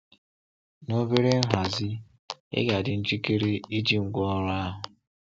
Na obere nhazi, ị ga-adị njikere iji ngwaọrụ ahụ.